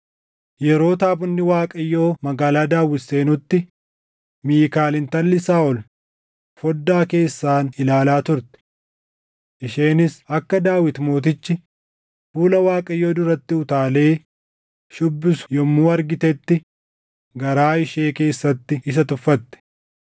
Yeroo taabonni Waaqayyoo Magaalaa Daawit seenutti Miikaal intalli Saaʼol foddaa keessaan ilaalaa turte. Isheenis akka Daawit Mootichi fuula Waaqayyoo duratti utaalee shuubbisu yommuu argitetti garaa ishee keessatti isa tuffatte.